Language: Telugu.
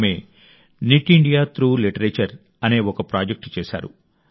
ఆమె నిట్ ఇండియా త్రూ లిటరేచర్ అనే ఒక ప్రాజెక్ట్ చేశారు